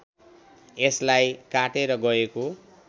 यसलाई काटेर गएको